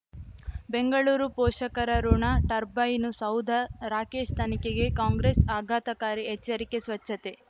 ಬೆಂಗಳೂರು ಪೋಷಕರಋಣ ಟರ್ಬೈನು ಸೌಧ ರಾಕೇಶ್ ತನಿಖೆಗೆ ಕಾಂಗ್ರೆಸ್ ಆಘಾತಕಾರಿ ಎಚ್ಚರಿಕೆ ಸ್ವಚ್ಛತೆ